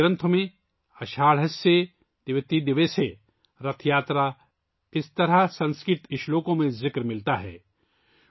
ہماری کتابوں میں 'آشا ڈھسیہ دوی تیے دوسے رتھ یاترا'، سنسکرت کے اشلوکوں میں اس طرح کی تفصیل ملتی ہے